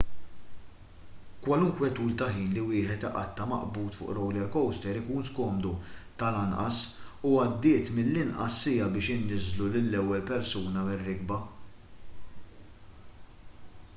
kwalunkwe tul ta' ħin li wieħed iqatta' maqbud fuq roller coaster ikun skomdu tal-anqas u għaddiet mill-inqas siegħa biex iniżżlu lill-ewwel persuna mir-rikba